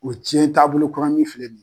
O jiyɛn taabolo kura min filɛ nin